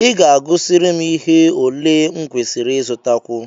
I ga-agụsịrị m ihe ole m kwesịrị ịzụtakwu?